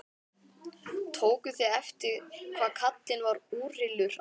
Tókuð þið eftir hvað karlinn var úrillur áðan?